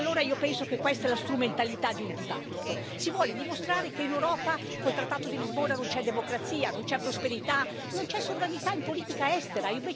Allora io penso che questa sia la strumentalità di un dibattito, si vuole dimostrare che in Europa, con il trattato di Lisbona, non c'è democrazia, non c'è prosperità, non c'è sovranità in politica estera.